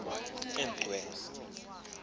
emgcwe